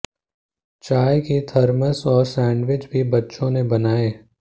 चाय की थर्मस और सैंडविच भी बच्चों ने बनाये